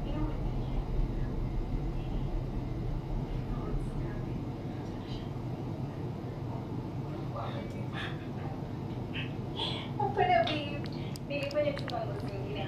toomonu empalikino endaa e tedekenya te tifanny